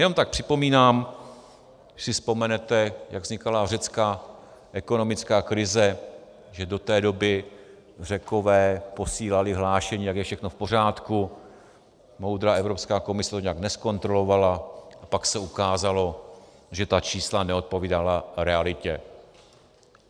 Jenom tak připomínám, když si vzpomenete, jak vznikala řecká ekonomická krize, že do té doby Řekové posílali hlášení, jak je všechno v pořádku, moudrá Evropská komise to nijak nezkontrolovala a pak se ukázalo, že ta čísla neodpovídala realitě.